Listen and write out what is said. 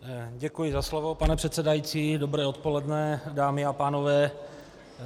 Děkuji za slovo, pane předsedající, dobré odpoledne, dámy a pánové.